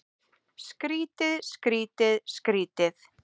Skrýtið, skrýtið, skrýtið.